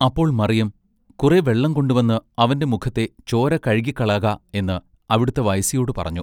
അപ്പോൾ മറിയം കുറെ വെള്ളം കൊണ്ടുവന്ന് അവന്റെ മുഖത്തെ ചോര കഴുകിക്കളക" എന്ന് അവിടത്തെ വയസ്സിയോടു പറഞ്ഞു.